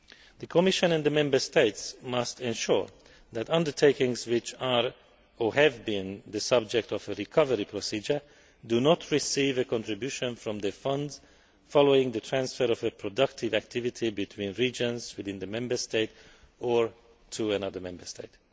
The Commission and the Member States must ensure that undertakings which are, or have been, the subject of a recovery procedure do not receive a contribution from the funds following the transfer of a productive activity between regions within the Member State or to another Member State.